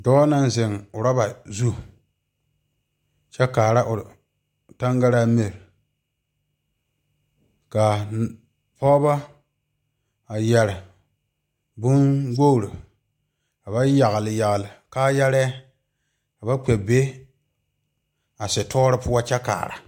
Dɔɔ naŋ zeŋ oroba zu kyɛ kaara o tangare mire ka pɔge a yeere bonwogre ka ba yagle yagle kaayare ka ba kpɛ be a story poɔ kyɛ kaara.